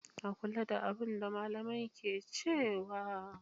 A kula da abin da malamai ke cewa.